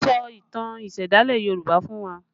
Sọ ìtàn ìsẹ̀dálẹ̀ Yoruba fún wa!